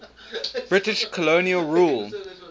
british colonial rule